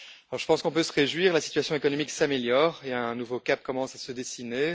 Je pense qu'on peut se réjouir la situation économique s'améliore et un nouveau cap commence à se dessiner.